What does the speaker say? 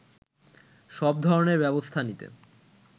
সব ধরনের ব্যবস্থা নিতে